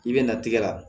I bɛ na tigɛ la